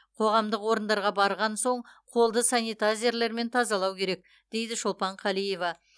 қоғамдық орындарға барған соң қолды санитайзерлермен тазалау керек дейді шолпан қалиева